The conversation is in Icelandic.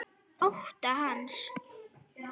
Ótta hans.